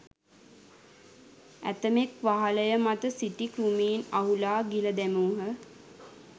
ඇතමෙක් වහලය මත සිටි කෘමීන් අහුලා ගිල දැමූහ.